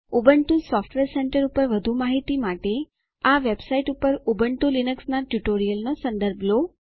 Ubuntu software centre પર વધુ માહિતી માટે આ વેબસાઈટ પર ઉબુન્ટુ લીનક્સના ટ્યુટોરીયલનો સંદર્ભ લો